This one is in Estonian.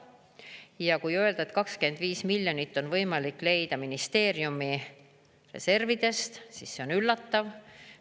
Ja kui öelda, et 25 miljonit on võimalik leida ministeeriumi reservidest, siis see on üllatav.